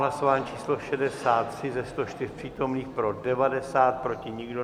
Hlasování číslo 63, ze 104 přítomných pro 90, proti nikdo.